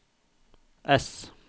S